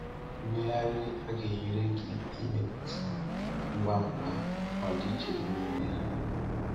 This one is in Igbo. Mmegharị a ga-enyere gị ịmụta ngwa ngwa ọdịiche dị n’ime ha.